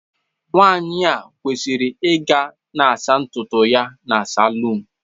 Nwanyị a kwesịrị ịga na-asa ntutu ya na saloon.